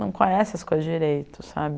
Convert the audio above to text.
Não conhece as coisas direito, sabe?